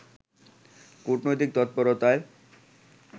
কূটনৈতিক তৎপরতায়